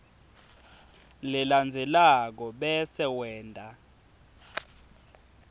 lelandzelako bese wenta